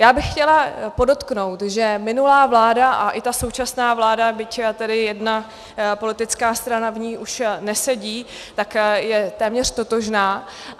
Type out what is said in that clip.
Já bych chtěla podotknout, že minulá vláda a i ta současná vláda, byť tedy jedna politická strana v ní už nesedí, tak je téměř totožná.